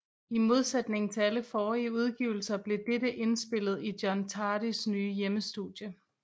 I modsætning til alle forrige udgivelser blev dette indspillet i John Tardys nye hjemmestudie